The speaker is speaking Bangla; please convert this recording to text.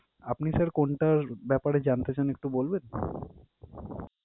আপনি sir কোনটার ব্যাপারে জানতে চান একটু বলবেন?